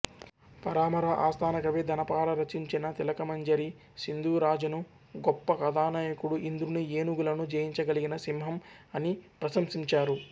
పరామరా ఆస్థానకవి ధనపాల రచించిన తిలకమంజరి సింధురాజను గొప్ప కథానాయకుడు ఇంద్రుని ఏనుగులను జయించగలిగిన సింహం అని ప్రశంసించారు